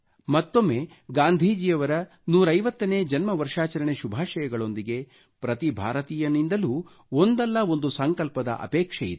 ಮತ್ತೊಮ್ಮೆ ಗಾಂಧೀಜಿಯವರ 150 ನೇ ಜನ್ಮ ವರ್ಷಾಚರಣೆ ಶುಭಾಷಯಗಳೊಂದಿಗೆ ಪ್ರತಿ ಭಾರತೀಯನಿಂದಲೂ ಒಂದಲ್ಲ ಒಂದು ಸಂಕಲ್ಪದ ಅಪೇಕ್ಷೆ ಇದೆ